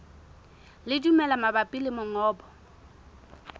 le dimela mabapi le mongobo